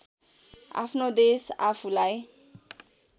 आफ्नो देश आफूलाई